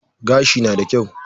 Gashi na da kyau.